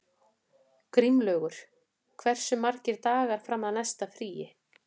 Grímlaugur, hversu margir dagar fram að næsta fríi?